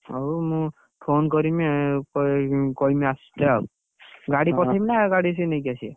ହଉ phone କରିମି ଏ ଗାଡି ପଠେଇବି ନା ଗାଡି ସିଏ ନେଇକି ଆସିବେ?